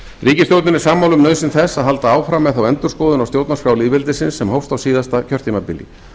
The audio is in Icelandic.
ríkisstjórnin er sammála um nauðsyn þess að halda áfram með þá endurskoðun á stjórnarskrá lýðveldsisins sem hófst á síðasta kjörtímabili